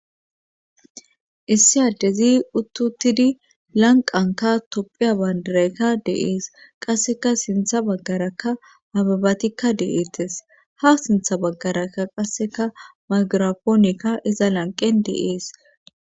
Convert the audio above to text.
issi addezi uttuttidi lanqanka topphiya baandarakka deees qasseka sintha baggaraka hababatikka deeettes ha sintha baggaraka qasseka magirapoonekka iza lanqen deees